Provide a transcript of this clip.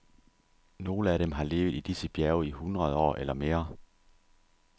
Nogle af dem har levet i disse bjerge i hundrede år eller mere.